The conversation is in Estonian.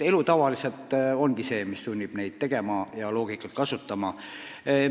Elu tavaliselt sunnib loogikat kasutama.